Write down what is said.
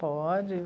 Pode.